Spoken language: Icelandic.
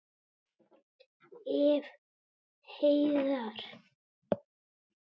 Ef. heiðar